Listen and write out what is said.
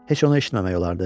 Heç onu eşitməmək olardı?